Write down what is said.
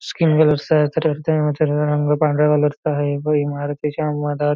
skin कलरच आहे तरी रंग पांढऱ्या कलरचा चा आहे व इमारती च्या मधात--